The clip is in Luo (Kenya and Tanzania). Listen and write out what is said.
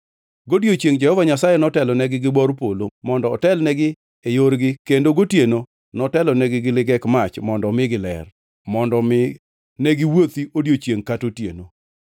Godiechiengʼ Jehova Nyasaye netelonegi gi bor polo mondo otelnegi e yorgi kendo gotieno notelonegi gi ligek mach mondo omigi ler, mondo mi negiwuothi odiechiengʼ kata otieno.